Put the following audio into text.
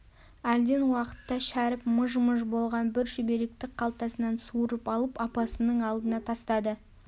әлден уақытта шәріп мыж-мыж болған бір шүберекті қалтасынан суырып алып апасының алдына тастады